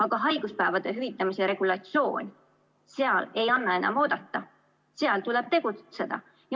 Aga haiguspäevade hüvitamise regulatsiooniga ei anna enam oodata, seal tuleb tegutseda.